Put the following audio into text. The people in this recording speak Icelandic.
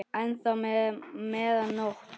enn þá meðan nóttu